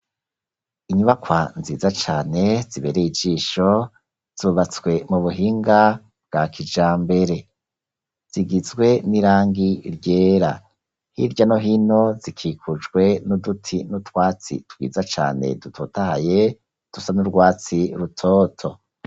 Inyubakwa nziza cane zibereye ijisho zubatswe mubuhinga bwa kijambere, zigizwe n'irangi ryera , hirya no hino zikikujwe n'uduti n'utwatsi twiza cane dutotahaye dusa n'urwatsi rutoto.